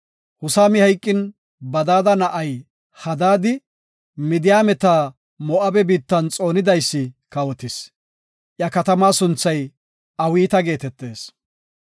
Husami hayqin, Badada na7ay Hadaadi, Midiyaameta Moo7abe biittan xoonidaysi kawotis; iya katamaa sunthay Awiita geetetis.